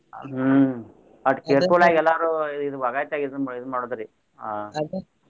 ಹ್ಮ್ ಅದ್ ಎಲ್ಲಾರು ಇದ್ ವಗಾಸಿ ಇದ್ ಇದನ್ನ ಮಾಡೋದ್ರಿ .